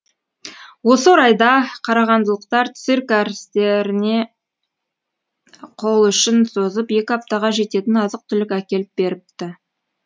осы орайда қарағандылықтар цирк әртістеріне қол ұшын созып екі аптаға жететін азық түлік әкеліп беріпті